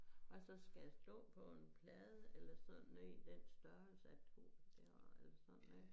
Og så skal det stå på en plade eller sådan du ved den størrelse at du det har eller sådan